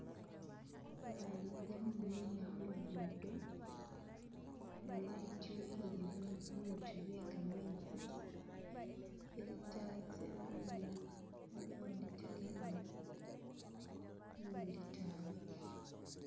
Babaana balikunina kuluguudo ne betyukire bibbutu bye gamenzi byalita zitano, waliwo uwa lita likuumi, nu uwa lita abiri.